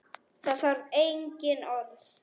Það þarf engin orð.